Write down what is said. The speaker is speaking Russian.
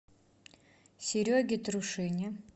сереге трушине